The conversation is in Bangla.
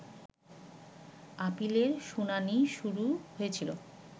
আপিলের শুনানি শুরু হয়েছিল